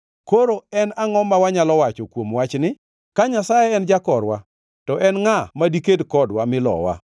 Koro en angʼo ma wanyalo wacho kuom wachni? Ka Nyasaye en jakorwa, to en ngʼa ma diked kodwa mi lowa?